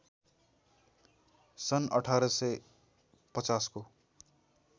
सन् १८५०को